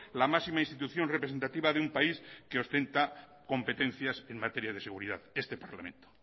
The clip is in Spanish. la máxima institución representativa de un país que ostenta competencias en materia de seguridad este parlamento